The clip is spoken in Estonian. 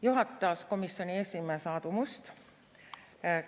Juhatas komisjoni esimees Aadu Must.